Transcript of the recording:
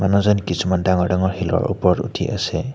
মানুহজন কিছুমান ডাঙৰ ডাঙৰ শিলৰ ওপৰত উঠি আছে।